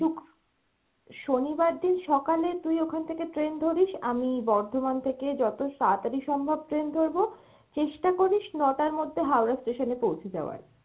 শুনিবার দিন সকালে তুই ওখান থেকে train ধরিস, আমি বর্ধমান থেকে যত তারাতারি সম্ভব train ধরবো, চেষ্টা করিস ন-টার মধ্যে Howrah station এ পৌঁছে যাওয়ার।